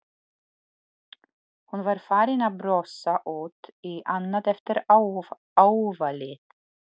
Hún var farin að brosa út í annað eftir áfallið.